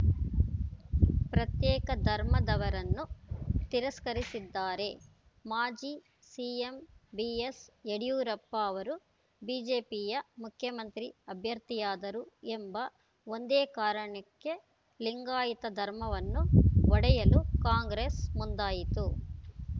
ಪ್ರತ್ಯೇಕ ಧರ್ಮದವರನ್ನು ತಿರಸ್ಕರಿಸಿದ್ದಾರೆ ಮಾಜಿ ಸಿಎಂ ಬಿಎಸ್‌ಯಡಿಯೂರಪ್ಪ ಅವರು ಬಿಜೆಪಿಯ ಮುಖ್ಯಮಂತ್ರಿ ಅಭ್ಯರ್ಥಿಯಾದರು ಎಂಬ ಒಂದೇ ಕಾರಣಕ್ಕೆ ಲಿಂಗಾಯತ ಧರ್ಮವನ್ನು ಒಡೆಯಲು ಕಾಂಗ್ರೆಸ್‌ ಮುಂದಾಯಿತು